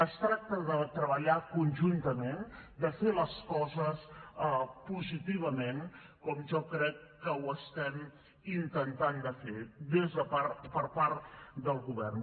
es tracta de treballar conjuntament de fer les coses positivament com jo crec que ho estem intentant de fer per part del govern